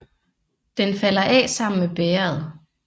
Den falder af sammen med bægeret